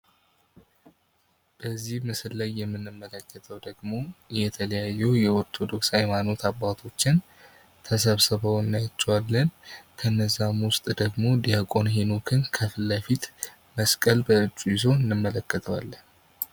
በዚህ ምስል ላይ የምንመለከተው ደግሞ የተለያዩ የኦርቶዶክስ ሃይማኖት አባቶችን ተሰብስበው እናያቸዋለን። ከነዛም ውስጥ ደግሞ ድያቆን ሄኖክን ከፊት ለፊት መስቀል በእጁ ይዞ እንመለከተዋለን።